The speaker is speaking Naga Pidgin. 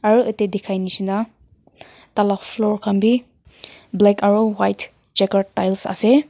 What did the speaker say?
aru yate dikhai nishina taila floor khan bi black aro white jakar tiles ase.